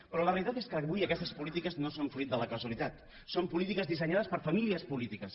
però la realitat és que avui aquestes polítiques no són fruit de la casualitat són polítiques dissenyades per famílies polítiques